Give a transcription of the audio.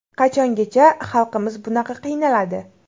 Qachongacha xalqimiz bunaqa qiynaladi.